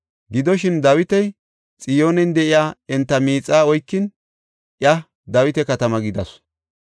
Gidoshin, Dawiti Xiyoonen de7iya enta miixa oykin, iya Dawita katama gidasu.